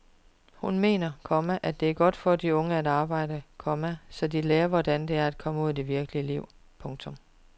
Hun mener, komma det er godt for de unge at arbejde, komma så de lærer hvordan det er at komme ud i det virkelige liv. punktum